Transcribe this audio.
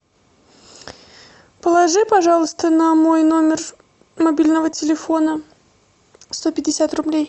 положи пожалуйста на мой номер мобильного телефона сто пятьдесят рублей